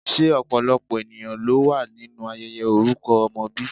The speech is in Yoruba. Se opolopo eniyan lo wa ninu ayeye oruko omo bi?